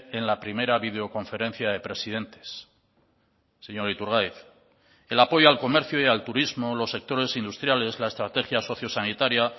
en la primera videoconferencia de presidentes señor iturgaiz el apoyo al comercio y al turismo los sectores industriales la estrategia sociosanitaria